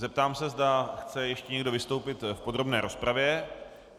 Zeptám se, zda chce ještě někdo vystoupit v podrobné rozpravě.